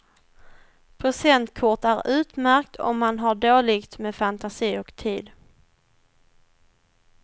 Presentkort är utmärkt om man har dåligt med fantasi och tid.